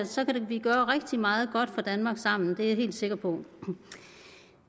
så kan vi gøre rigtig meget godt for danmark sammen det er jeg helt sikker på